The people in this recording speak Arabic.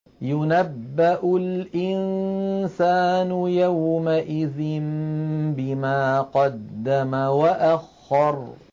يُنَبَّأُ الْإِنسَانُ يَوْمَئِذٍ بِمَا قَدَّمَ وَأَخَّرَ